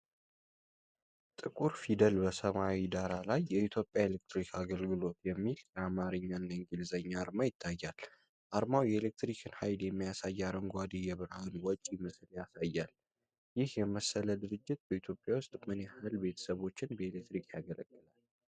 ጥቁር ፊደል በሰማያዊ ዳራ ላይ 'የኢትዮጵያ ኤሌክትሪክ አገልግሎት' የሚል የአማርኛና የእንግሊዝኛ አርማ ይታያል። አርማው የኤሌክትሪክን ሃይል የሚያሳይ አረንጓዴ የብርሃን ወጪ ምስል ያሳያል። ይህ የመሰለ ድርጅት በኢትዮጵያ ውስጥ ምን ያህል ቤተሰቦችን በኤሌክትሪክ ያገለግላል?